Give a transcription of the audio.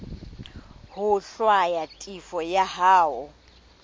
ho hlwaya tefo ya hao